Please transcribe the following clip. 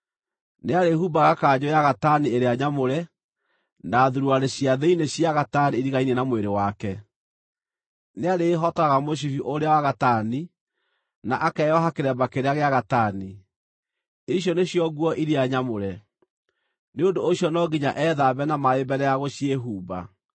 Nĩarĩhumbaga kanjũ ya gatani ĩrĩa nyamũre, na thuruarĩ cia thĩinĩ cia gatani iriganie na mwĩrĩ wake, nĩarĩĩhotoraga mũcibi ũrĩa wa gatani, na akeoha kĩremba kĩrĩa gĩa gatani. Icio nĩcio nguo iria nyamũre; nĩ ũndũ ũcio no nginya ethambe na maaĩ mbere ya gũciĩhumba.